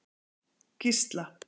Gísla